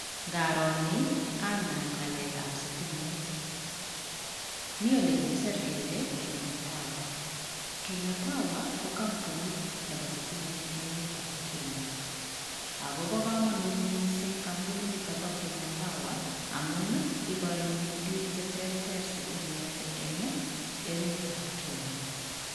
Ngaro ni anan ngalekab sitimet, mi ole kikisir kele Kenya Power, Kenya Power ko kampunit nebo sitimet eng emetab Kenya, akobo kamanut mising kampuninito bo Kenya Power amun ii, ikoini piik che terter sitimet eng emetab Kenya.